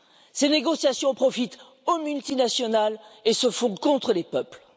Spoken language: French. Ces négociations profitent aux multinationales et se font contre les peuples.